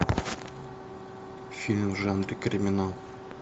фильм в жанре криминал